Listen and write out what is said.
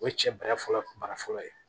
O ye cɛ bara fɔlɔ bara fɔlɔ ye